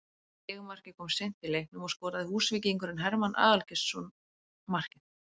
Sigurmarkið kom seint í leiknum og skoraði Húsvíkingurinn Hermann Aðalgeirsson markið